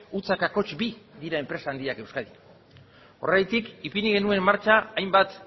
zero koma bi dira enpresa handiak euskadin horregatik ipini genuen martxan hainbat